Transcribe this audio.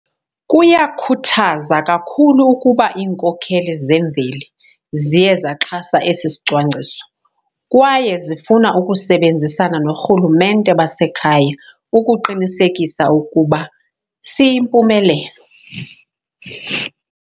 Kuyakhuthaza kakhulu ukuba iinkokheli zemveli ziye zaxhasa esi sicwangciso kwaye zifuna ukusebenzisana noorhulumente basekhaya ukuqinisekisa ukuba siyimpumelelo.